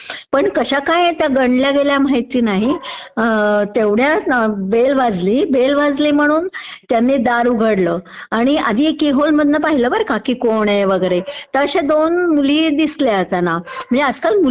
पण कश्या काय त्या गंडल्या गेल्या माहित नाही. तेवढ्यात बेल वाजली, बेल वाजली म्हणून दार उघडलं. आधी की होल मधनं पाहिलं बर का कोण आहे वगैरे, तर अश्या दोन मुली दिसल्या त्यांना, म्हणजे आज काल मुली